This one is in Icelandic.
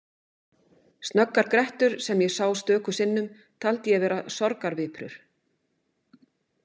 Snöggar grettur sem ég sá stöku sinnum taldi ég vera sorgarviprur.